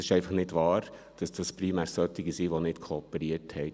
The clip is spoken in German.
Und es ist einfach nicht wahr, dass es primär solche sind, die nicht kooperiert haben.